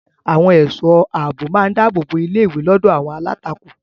Àwọn ẹ̀ṣọ́ ààbò máa dáàbò bo ilé-ìwé lọ́dọ̀ àwọn alátakò.